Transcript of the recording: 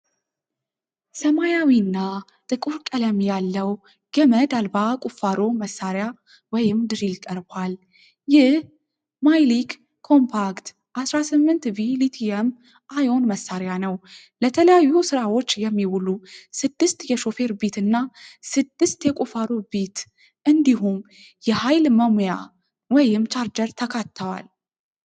ሰማያዊና ጥቁር ቀለም ያለው **ገመድ አልባ ቁፋሮ መሳሪያ** (drill) ቀርቧል። ይህ **MYLEK COMPACT** 18V ሊቲየም-አዮን መሳሪያ ነው። ለተለያዩ ስራዎች የሚውሉ **ስድስት የሾፌር ቢት** እና **ስድስት የቁፋሮ ቢት** እንዲሁም **የኃይል መሙያ** (ቻርጀር) ተካተዋል።